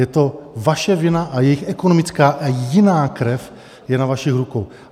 Je to vaše vina a jejich ekonomická a jiná krev je na vašich rukou.